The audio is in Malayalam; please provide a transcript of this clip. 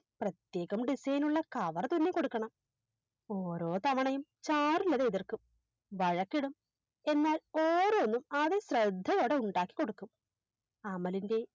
പ്രത്യേകം Design നുള്ള Cover തുന്നിക്കൊടുക്കണം ഓരോ തവണയും ചാരുലത എതിർക്കും വഴക്കിടും എന്നാൽ ഓരോന്നും അതി ശ്രദ്ധയോടെ ഉണ്ടാക്കിക്കൊടുക്കും അമലിൻറെ